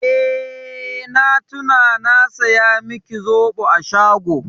Eh, na tuna na saya miki zoɓo a shago.